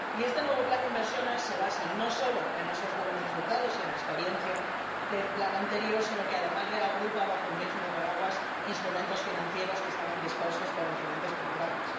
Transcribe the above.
Este nuevo plan de inversiones se basa no solo en esos buenos resultados y en la experiencia del plan anterior sino que, además, reagrupa bajo un mismo paraguas instrumentos financieros que estaban dispersos por diferentes programas.